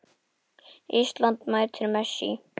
Ísland mætir Messi.